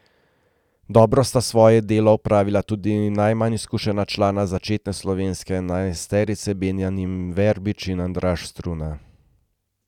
Dobro sta svoje delo opravila tudi najmanj izkušena člana začetne slovenske enajsterice Benjamin Verbič in Andraž Struna.